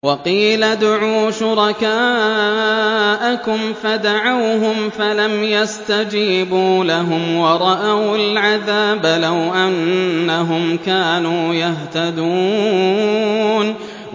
وَقِيلَ ادْعُوا شُرَكَاءَكُمْ فَدَعَوْهُمْ فَلَمْ يَسْتَجِيبُوا لَهُمْ وَرَأَوُا الْعَذَابَ ۚ لَوْ أَنَّهُمْ كَانُوا يَهْتَدُونَ